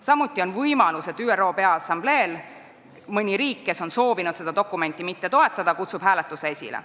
Samuti on võimalik, et mõni ÜRO Peaassamblee riik, kes ei ole soovinud seda dokumenti toetada, kutsub hääletuse esile.